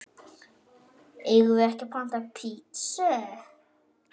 Eigum við ekki panta pitsu?